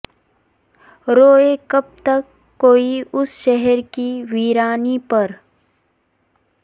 روئے کب تک کوئی اس شہر کی ویرانی پر